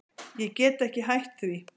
Ég get ekki hætt því.